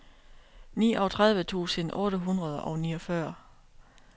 niogtredive tusind otte hundrede og niogfyrre